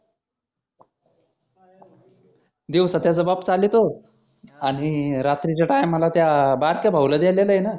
दिवसा त्याचा बाप चालीतो आणि रात्रीच्या time ला त्या बारक्या भाऊला देलेलं आहेना.